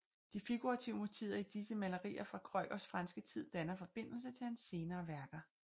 De figurative motiver i disse malerier fra Kreugers franske tid danner forbindelse til hans senere værker